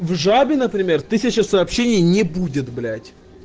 в жабино пример сообщений не будет блять